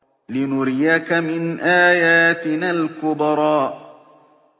لِنُرِيَكَ مِنْ آيَاتِنَا الْكُبْرَى